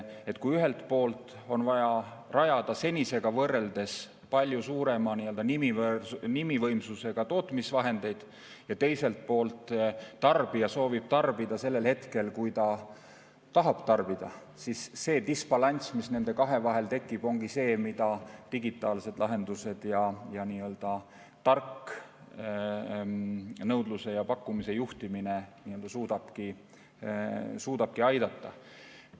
Et kui ühelt poolt on vaja rajada senisega võrreldes palju suurema nimivõimsusega tootmisvahendeid ja teiselt poolt tarbija soovib tarbida just sellel hetkel, kui ta tahab tarbida, siis see disbalanss, mis nende kahe vahel tekib, ongi see, mille puhul digitaalsed lahendused ja nii-öelda tark nõudluse ja pakkumise juhtimine suudavad aidata.